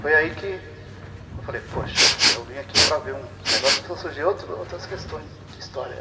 Foi aí que eu falei, poxa, eu vim aqui para ver um negócio e começaram a surgir outras questões de história.